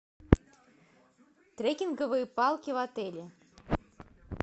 трекинговые палки в отеле